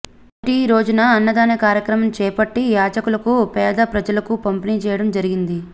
మొదటి రోజున అన్నదాన కార్యక్రమం చేపట్టి యాచకులకు పేద ప్రజలకు పంపిణీ చేయడం జరిగింది